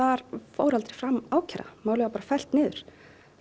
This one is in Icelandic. fór aldrei fram ákæra málið var bara fellt niður